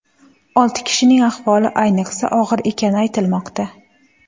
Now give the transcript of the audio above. Olti kishining ahvoli ayniqsa og‘ir ekani aytilmoqda.